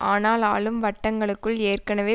ஆனால் ஆளும் வட்டங்களுக்குள் ஏற்கனவே